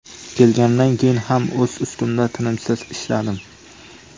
Kelganimdan keyin ham o‘z ustimda tinimsiz ishladim.